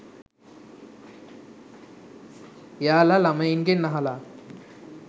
එයාලා ළමයින්ගෙන් අහලා